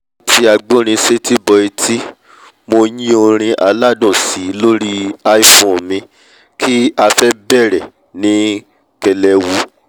mo ti agbórinsétí bọ̀ ẹtí mo yín ọrin aládùn síi lóri iphone mi kí afẹ́ bẹ̀rẹ̀ ní kẹlẹwu